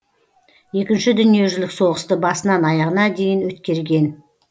екінші дүниежүзілік соғысты басынан аяғына дейін өткерген